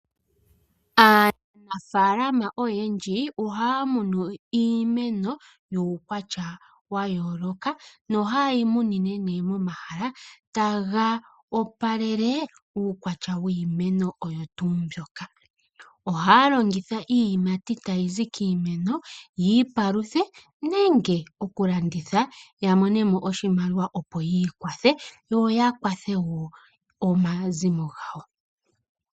Aanafaalama oyendji ohaya munu iimeno yuukwatya wa yooloka, nohayeyi munine nee momahala taga opalele uukwatya wiimeno oyo tuu mbyoka. Ohaya longitha iiyimati tayizi kiimeno yiipaluthe nenge oku landitha ya monemo oshimaliwa opo yi ikwathe yo ya kwathe woo omazimo gawo.